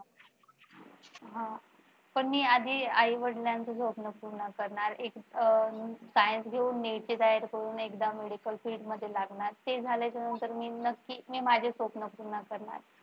हा. पण मी आधी आई वडिलांचे स्वप्न पूर्ण करणार. अह science घेऊन NEET ची तयारी करून एकदा medical field मध्ये लागणार ते झाल्याच्या नंतर मी नक्कीच मी माझे स्वप्न पूर्ण करणार.